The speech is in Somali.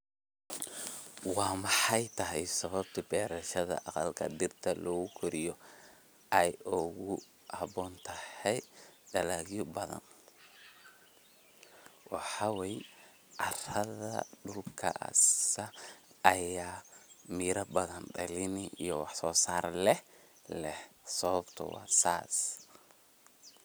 Waa maxay sababta beerashada aqalka dhirta lagu koriyo ay ugu habboon tahay dalagyo badan, waxa wey carada dulkas aya miira badan dhalini iyo waax so saar leh leh sababto wa sas.